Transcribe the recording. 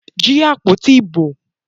Jí àpótí ìbò!